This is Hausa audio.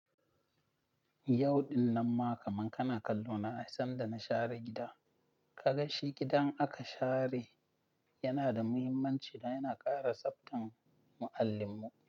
Yau din nan ma kaman kana kallo na sanda na share gida. Ka ganshi gidan in aka share yana da muhimmanci da yana ƙara tsaftan mu allin mu.